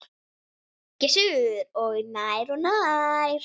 Gissur: Og nær og nær?